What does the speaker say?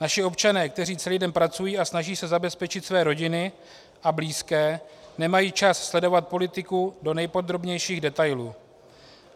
Naši občané, kteří celý den pracují a snaží se zabezpečit své rodiny a blízké, nemají čas sledovat politiku do nejpodrobnějších detailů.